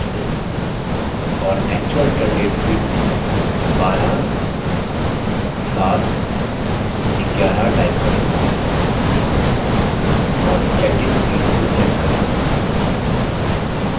और actual return date field में 12/7/11 type करें और checkedin feeld को check करें